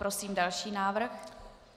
Prosím další návrh.